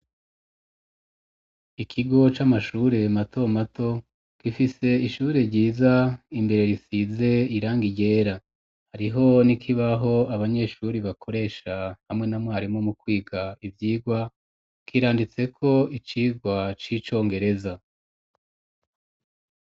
Ikigo c'amashure mato mato gifise ishure ryiza, imbere risize irangi ryera, hariho, n'ikibaho abanyeshuri bakoresha hamwe na mwarimu mu kwiga ivyigwa kiranditse ko icigwa c'icongereza.